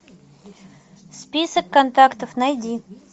список контактов найди